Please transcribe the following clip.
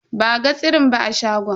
Ba a ga tsirin ba a shagon.